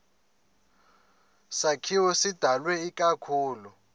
sakhiwo sidalwe ikakhulu